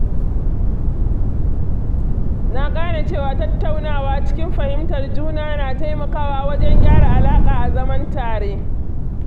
Na gane cewa tattaunawa cikin fahimtar juna na taimakawa wajen gyara alaƙa a zaman tare